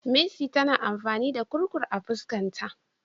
Mercy tana amfani da Kurkur a fuskan ta.